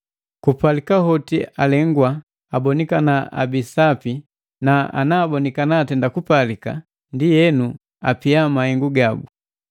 Kupalika hoti alegwa, abonikana abii sapi na bakabonikana atenda kupalika, ndienu apia mahengu gabu.